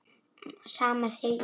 Sama segi ég sagði Lúlli.